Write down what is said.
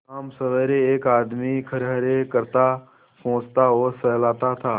शामसबेरे एक आदमी खरहरे करता पोंछता और सहलाता था